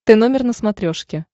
т номер на смотрешке